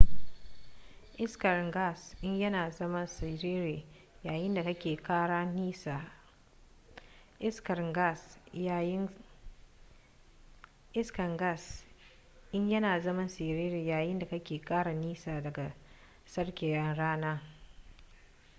iskar gas in yana zama siriri yayin da kake kara nisa daga tsakiyar rana